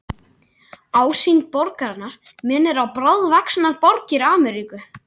Ásýnd borgarinnar minnir á bráðvaxnar borgir Ameríku.